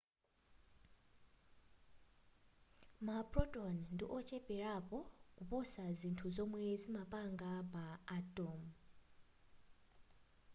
ma photon ndi ocheperapo kuposa zinthu zomwe zimapanga ma atom